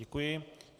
Děkuji.